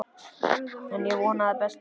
En ég vona það besta.